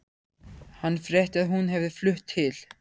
Hann frétti að hún hefði flutt til